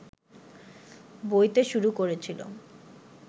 বইতে শুরু করেছিল